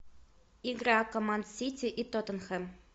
игра команд сити и тоттенхэм